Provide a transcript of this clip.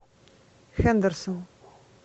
хендерсон